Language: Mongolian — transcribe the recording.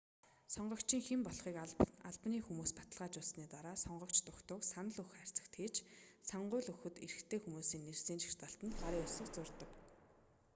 сонгогчийн хэн болохыг албаны хүмүүс баталгаажуулсаны дараа сонгогч дугтуйг санал өгөх хайрцагт хийж сонгууль өгөх эрхтэй хүмүүсийн нэрсийн жагсаалтанд гарын үсэг зурдаг